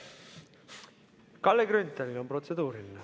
Kalle Grünthalil on protseduuriline.